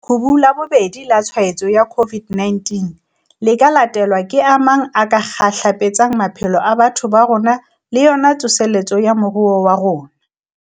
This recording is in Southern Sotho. Leqhubu la bobedi la tshwaetso ya COVID-19 le ka latelwa ke a mang a ka kgahlapetsang maphelo a batho ba rona le yona tsoseletso ya moruo wa rona.